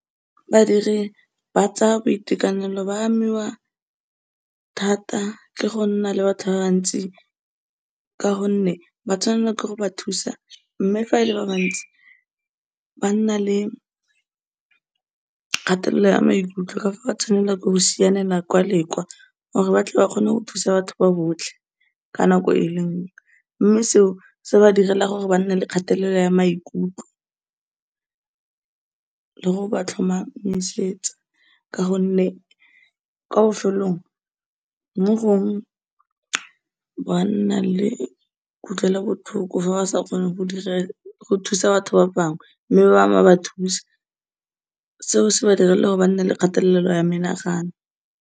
Badiri ba tsa boitekanelo, ba amiwa thata ke gonna le batho ba ba ntsi, ka gonne ba tshwanela ke go ba thusa, mme fa e le ba bantsi, ba nna le kgatelelo ya maikutlo ka fa ba tshwanela ke go sianela kwa le kwa, gore batle ba kgone go thusa batho ba botlhe ka nako e le nngwe, mme seo, se ba direla gore ba nne le kgatelelo ya maikutlo le gore ba tlhomamisetsa, ka gonne kwa bofelelong, mo gongwe, ba nna le kutlwelobohloko fa ba sa kgone go dira, go thusa batho ba bangwe mme ba bangwe ba ba thusa. Seo se ba direla gore ba nne le kgatelelo ya menagano.